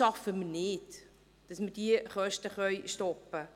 Wir schaffen es nicht, diese Kosten zu stoppen.